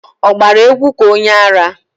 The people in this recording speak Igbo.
Ọ gbara égwú ka onyeara?